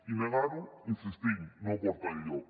i negar ho hi insistim no porta enlloc